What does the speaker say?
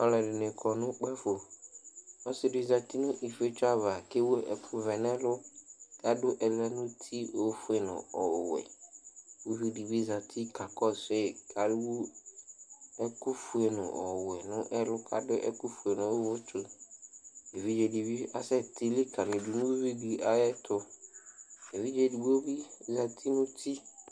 Alʋɛdɩnɩ kɔ nʋ ukpǝfo Ɔsɩ dɩ zati nʋ ifietso ava kʋ ewu ɛkʋvɛ nʋ ɛlʋ kʋ adʋ ɛlɛnʋti ofue nʋ ɔwɛ Uvi dɩ bɩ zati kakɔsʋ yɩ kʋ ewu ɛkʋfue nʋ ɔwɛ nʋ ɛlʋ kʋ adʋ ɛkʋfue nʋ ʋvʋtsʋ Evidze dɩ bɩ asɛtɩ likǝlidu nʋ uyui dɩ ayɛtʋ Evidze edigbo bɩ zati nʋ uti